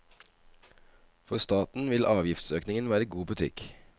For staten vil avgiftsøkningen være god butikk.